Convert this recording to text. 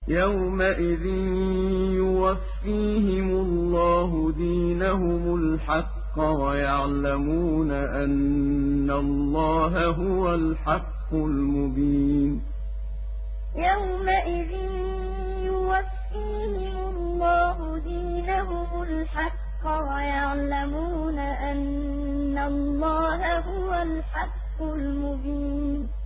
يَوْمَئِذٍ يُوَفِّيهِمُ اللَّهُ دِينَهُمُ الْحَقَّ وَيَعْلَمُونَ أَنَّ اللَّهَ هُوَ الْحَقُّ الْمُبِينُ يَوْمَئِذٍ يُوَفِّيهِمُ اللَّهُ دِينَهُمُ الْحَقَّ وَيَعْلَمُونَ أَنَّ اللَّهَ هُوَ الْحَقُّ الْمُبِينُ